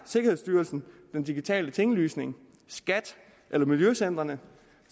sikkerhedsstyrelsen den digitale tinglysning skat eller miljøcentrene